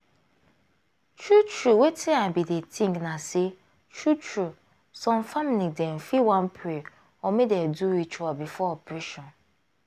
true true wetin i bin dey think na say true true some family dem fit wan pray or make dem do ritual before operation.